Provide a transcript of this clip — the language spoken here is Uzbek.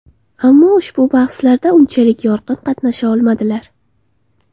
Ammo ushbu bahslarda unchalik yorqin qatnasha olmadilar.